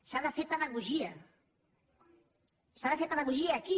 s’ha de fer pedagogia s’ha de fer pedagogia aquí